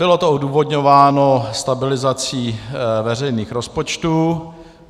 Bylo to odůvodňováno stabilizací veřejných rozpočtů.